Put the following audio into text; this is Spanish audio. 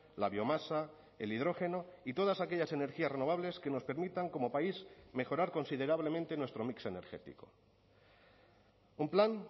la biomasa el hidrógeno y todas aquellas energías renovables que nos permitan como país mejorar considerablemente nuestro mix energético un plan